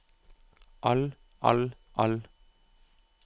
all all all